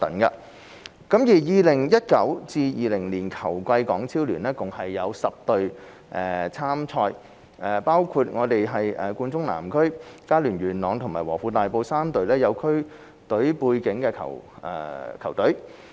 在 2019-2020 球季，港超聯共有10隊參賽，包括冠忠南區、佳聯元朗及和富大埔3隊有區隊背景的球隊。